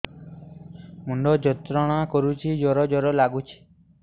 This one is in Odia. ମୁଣ୍ଡ ଯନ୍ତ୍ରଣା କରୁଛି ଜର ଜର ଲାଗୁଛି